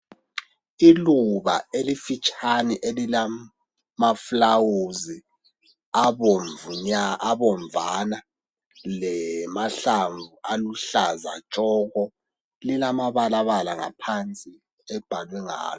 Iluba elifitshane elilamaflawuzi abomvana, lamahlamvu aluhlaza tshoko, lilamabalabala ngaphansi abhalwe ngalo.